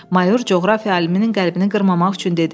Mayor coğrafiya aliminin qəlbini qırmamaq üçün dedi.